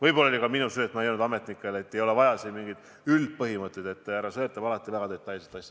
Võib-olla oli see ka minu süü, sest ma ei öelnud ametnikele, et siin ei ole vaja edastada üldpõhimõtteid, vaid härra Sõerd tahab alati väga detailset asja.